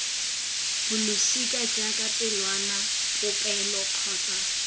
bolosika jaaka pelwana popelo kgotsa